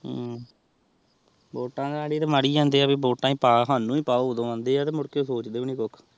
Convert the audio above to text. ਹਮਮ ਵੋਟਾ ਨਾਲ ਤੇਹ ਮਰਾ ਜਾਨ੍ਦਿਯਾਂ ਨੇ ਤੇਹ ਸਾਨੂ ਹੀ ਪਾਓ ਸਾਨੂ ਹੀ ਪਾਓ ਤੇਹ ਮੁੜ ਕੇ ਸੋਵ੍ਹਦੇ ਨੀ ਕੁਛ